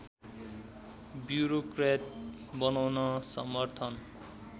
bureaucrat बनाउन समर्थन